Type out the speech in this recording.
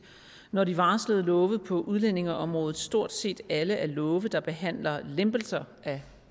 når de varslede love på udlændingeområdet stort set alle er love der behandler lempelser af